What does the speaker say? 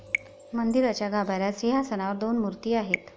मंदिराच्या गाभाऱ्यात सिंहासनावर दोन मूर्ती आहेत.